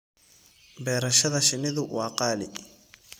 Beerashada shinnidu waa qaali.